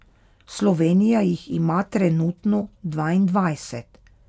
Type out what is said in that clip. Slovenija jih ima trenutno dvaindvajset.